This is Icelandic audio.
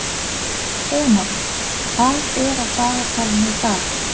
Enok, hvað er á dagatalinu í dag?